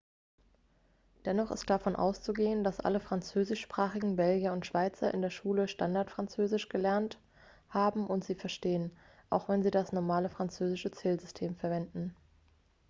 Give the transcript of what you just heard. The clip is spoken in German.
dennoch ist davon auszugehen dass alle französischsprachigen belgier und schweizer in der schule standardfranzösisch gelernt haben und sie verstehen auch wenn sie das normale französische zählsystem verwenden